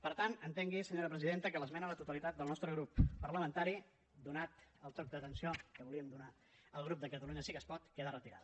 per tant entengui senyora presidenta que l’esmena a la totalitat del nostre grup parlamentari donat el toc d’atenció que volíem donar al grup de catalunya sí que es pot queda retirada